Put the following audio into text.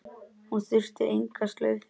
Hún þurfti enga slaufu.